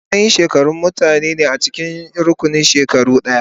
Matsayin shekaru mutane ne a cikin rukunin shekaru ɗaya.